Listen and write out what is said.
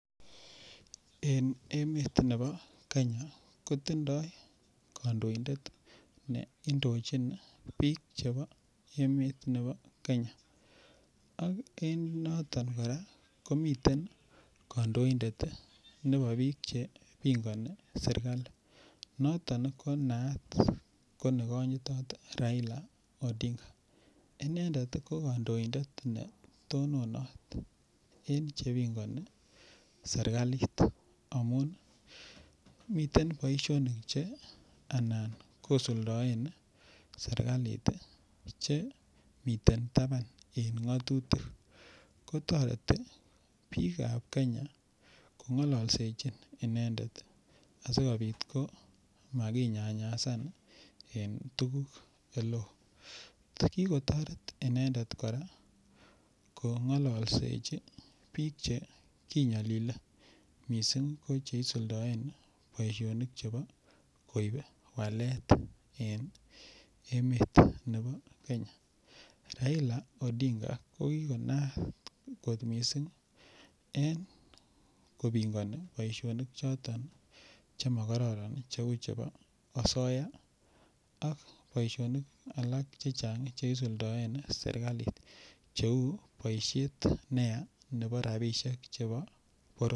En emet nebo Kenya kotindoi kandoindet ne indojin biik chebo emet nebo Kenya ak en noton kora komiten kandoindet nebo biik chepingoni serikali noton ko naat ko nekonyitot Raila Odinga inendet ko kandoindet ne tononat eng' chepingoni serikalit amun miten boishonik che anan kosuldaen serikalit che miten taban en ng'otutik ko toreti biikab Kenya kong'ololsejin inendet asikobit ko makinyanyasan en tuguk ole oo kikotoret inendet kora ko ng'olseji biik che kinyolile mising' ko che isuldaen boishonik chebo koib walet en emet nebo Kenya Raila Odinga ko kikonaak kot mising' en kopingoni boishonik choton chemakoron cheu chebo oyosoya ak boishonik alak chechang' Che isuldoen serikalit cheu boishet neya chebo rapishek chebo